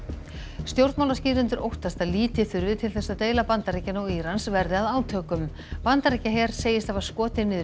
stjórnmálaskýrendur óttast að lítið þurfi til þess að deila Bandaríkjanna og Írans verði að átökum Bandaríkjaher segist hafa skotið niður